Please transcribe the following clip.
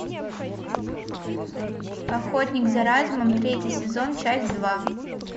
охотник за разумом третий сезон часть два